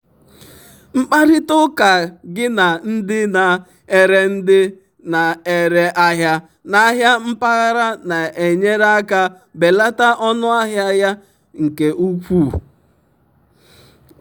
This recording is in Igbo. mkparịta ụka gị na ndị na-ere ndị na-ere ahịa n'ahịa mpaghara na-enyere aka belata ọnụ ahịa ya nke ukwuu.